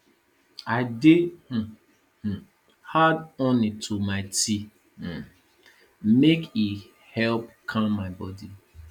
i dey um um add honey to my tea um make e help calm my bodi